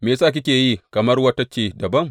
Me ya sa kike yi kamar wata ce dabam?